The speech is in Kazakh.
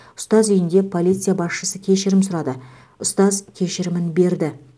ұстаз үйінде полиция басшысы кешірім сұрады ұстаз кешірімін берді